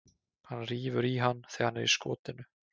Hann rífur í hann þegar hann er í skotinu.